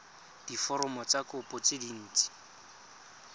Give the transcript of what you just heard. diforomo tsa kopo tse dint